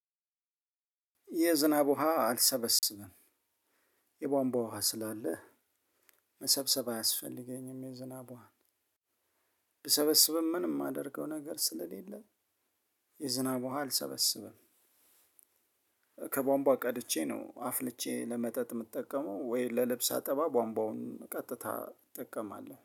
የዝናብ ውሃ አልሰበስብም። የቧንቧ ውሃ ስላለ መሰብሰብ አያስፈልገኝም። የዝናብ ውሃ ብሰበስብም ምንም የማደርገው ነገር ስለሌለ የ ዝናብ ውሃ አልሰበስብም። ከቧንቧ ቀድቼ ነው አፍልቼ ለመጠጥ የምጠቀመው ወይ ለልብስ አጠባብ ቧንቧውን ቀጥታ እጠቀማለሁ